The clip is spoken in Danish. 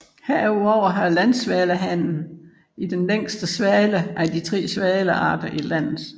Herudover har landsvalehannen den længste hale af de tre svalearter i landet